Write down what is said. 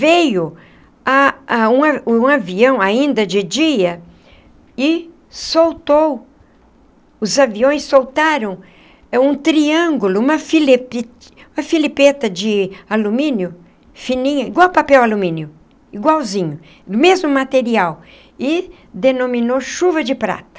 Veio a a um um avião ainda de dia... e soltou... os aviões soltaram... um triângulo... uma filepi uma filipeta de alumínio... fininha... igual a papel alumínio... igualzinho... do mesmo material... e denominou chuva de prata.